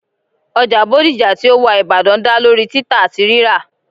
oja bodija ti o wa ibadan da lori tita ati rira